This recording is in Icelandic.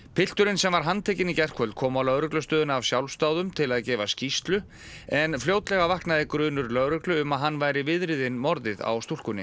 pilturinn sem var handtekinn í gærkvöld kom á lögreglustöðina af sjálfsdáðum til að gefa skýrslu en fljótlega vaknaði grunur lögreglu um að hann væri viðriðinn morðið á stúlkunni